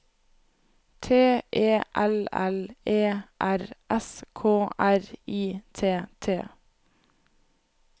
T E L L E R S K R I T T